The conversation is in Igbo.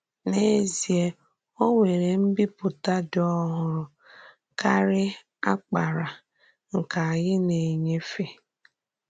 N’eziè, ò nwerè mbìpùtà dị́ ọ̀hụrụ̀ kárị àkpàrà nke ányị na-enyéfé.